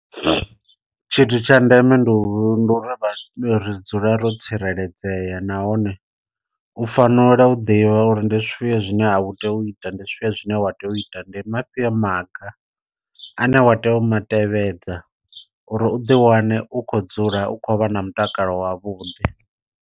Tshithu tsha ndeme ndi u ndi uri ri dzule ro tsireledzea nahone u fanela u ḓivha uri ndi zwifhio zwine a u tei u ita ndi zwifhio zwine wa tea u ita, ndi mafhio maga ane wa tea u ma tevhedza uri uḓi wane u khou dzula u khou vha na mutakalo wavhuḓi.